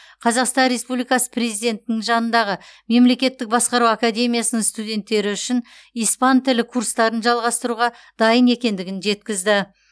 қазақстан республикасы президентінің жанындағы мемлекеттік басқару академиясының студенттері үшін испан тілі курстарын жалғастыруға дайын екендігін жеткізді